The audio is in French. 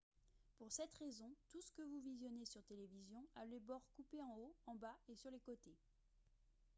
pour cette raison tout ce que vous visionnez sur télévision a les bords coupés en haut en bas et sur les côtés